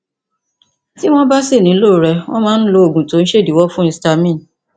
tí wọn bá sì nílò rẹ wọn máa ń lo oògùn tó ń ṣèdíwọ fún histamine